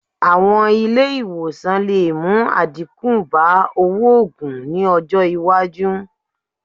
Àwọn ilé ìwòsàn lè mú àdínkù bá owó oogùn ní ọjọ́ iwájú